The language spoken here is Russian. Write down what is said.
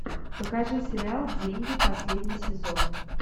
покажи сериал деньги последний сезон